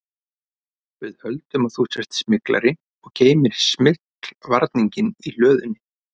Við höldum að þú sért smyglari og geymir smyglvarninginn í hlöðunni